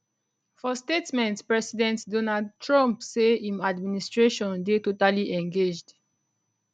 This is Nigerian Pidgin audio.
for statement president donald trump say im administration dey totally engaged